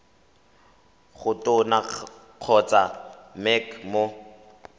go tona kgotsa mec mo